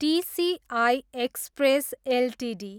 TCI Express Ltd